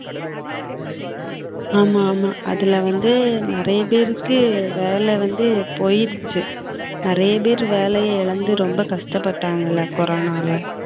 ஆமா ஆமா அதுல வந்து நிறைய பேருக்கு வேலை வந்து போயிருச்சு நிறைய பேர் வேலையை இழந்து ரொம்ப கஷ்டப்பட்டாங்கல்ல கொரோனால